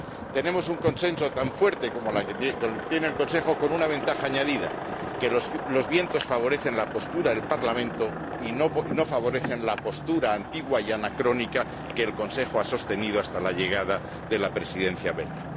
Tenemos un consenso tan fuerte como el que tiene el Consejo, con una ventaja añadida, que los vientos favorecen la postura del Parlamento y no favorecen la postura antigua y anacrónica que el Consejo ha sostenido hasta la llegada de la Presidencia belga.